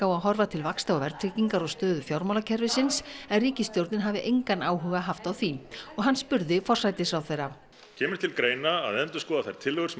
á að horfa til vaxta og verðtryggingar og stöðu fjármálakerfisins en ríkisstjórnin hafi engan áhuga haft á því og hann spurði forsætisráðherra kemur til greina að endurskoða þær tillögur sem